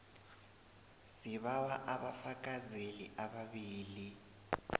sibawa abafakazeli ababili